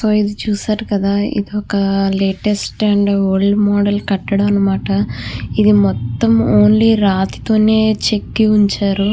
So ఇది చూశారు కదా ఇది ఒక లేటెస్ట్ అండ్ ఓల్డ్ మోడెల్ కట్టడాలు అన్నమాట. ఇది మొత్తం ఓన్లీ రాతితోనే చెక్కి ఉంచారు.